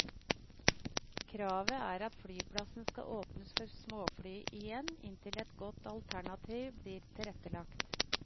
Kravet er at flyplassen skal åpnes for småfly igjen inntil et godt alternativ blir tilrettelagt.